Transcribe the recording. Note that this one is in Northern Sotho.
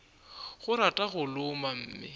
o rata go loma mme